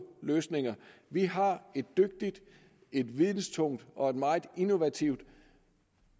løsninger vi har et dygtigt videntungt og meget innovativt